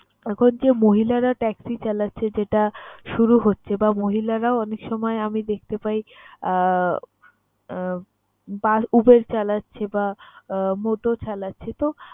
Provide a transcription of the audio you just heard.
এখন যে মহিলারা ট্যাক্সি চালাচ্ছে, যেটা শুরু হচ্ছে বা মহিলারা অনেক সময় আমি দেখতে পাই আহ UBER চালাচ্ছে বা আহ মোটো চালাচ্ছে তো